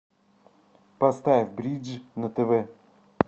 поставь бридж на тв